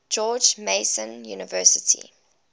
george mason university